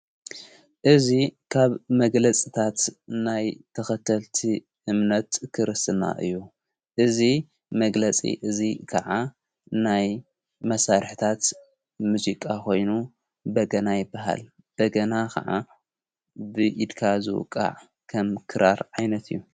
እዙ ኻብ መግለጽታት ናይ ተኸተልቲ እምነት ክርስና እዩ እዙ መግለጺ እዙይ ከዓ ናይ መሣርሕታት ምዜቃ ኾይኑ በገና ይበሃል በገና ኸዓ ብኢድካ ዝውቓዕ ከም ክራር ዓይነት እዩ።